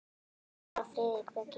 Anna Lára og Friðrik Breki.